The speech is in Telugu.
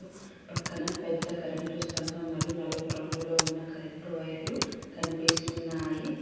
పక్కన పెద్ద కరెంట్ స్థంభం మరియు నలుపు రంగులో ఉన్న కరెంట్ వైర్ లు కనిపిస్తున్నాయి.